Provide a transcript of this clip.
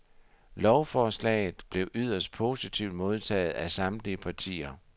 Lovforslaget blev yderst positivt modtaget af samtlige partier.